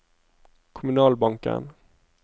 kommunalbanken